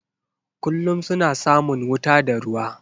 Kullum suna samun wuta da ruwa.